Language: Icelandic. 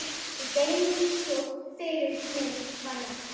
Ég gerði eins og fyrir mig var lagt.